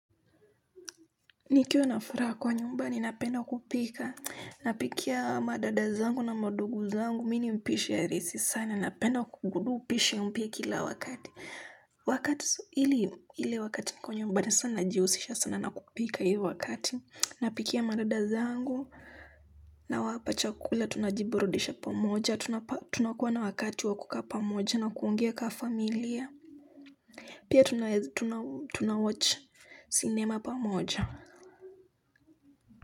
Nikiwa na furaha kwa nyumba ninapenda kupika napikia madada zangu na mandugu zangu mi ni mpishi halisi sana napenda kugundua upishi mpya kila wakati wakati hili ile wakati niko nyumbani sana najihusisha sana na kupika hiyo wakati. Napikia madada zangu nawapa chakula tunajiburudisha pamoja tunakuwa na wakati wa kukaa pamoja na kuongea kama familia pia tunawatch sinema pamoja.